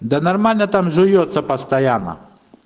да нормально там жуётся постоянно